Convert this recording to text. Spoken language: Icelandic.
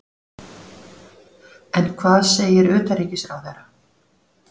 En hvað segir utanríkisráðherra?